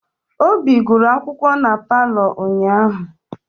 Obi guru akwụkwọ na palọ ụnyahụ.